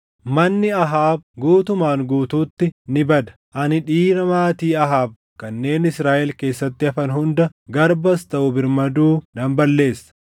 Manni Ahaab guutumaan guutuutti ni bada. Ani dhiira maatii Ahaab kanneen Israaʼel keessatti hafan hunda garbas taʼu birmaduu nan balleessa.